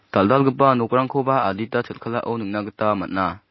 dal·dalgipa nokrangkoba adita chel·kalao nikna gita man·a.